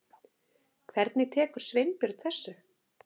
Hvernig tekur Sveinbjörn þessu?